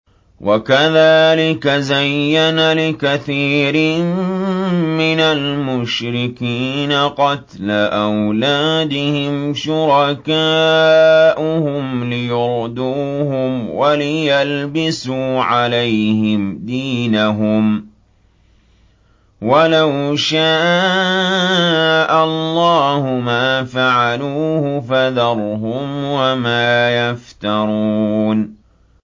وَكَذَٰلِكَ زَيَّنَ لِكَثِيرٍ مِّنَ الْمُشْرِكِينَ قَتْلَ أَوْلَادِهِمْ شُرَكَاؤُهُمْ لِيُرْدُوهُمْ وَلِيَلْبِسُوا عَلَيْهِمْ دِينَهُمْ ۖ وَلَوْ شَاءَ اللَّهُ مَا فَعَلُوهُ ۖ فَذَرْهُمْ وَمَا يَفْتَرُونَ